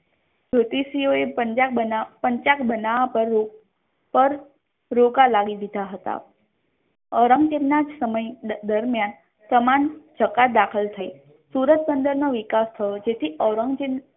જ્યોતિષીઓ એ પંચાંગ બનાવા પર રોકા લાવી દીધા હતા ઔરંગઝેબ નાજ સમય દરમ્યાન સમાન સકા દાખલ થઇ સુરત બંદર નો વિકાસ થયો જેથી ઔરંગઝેબ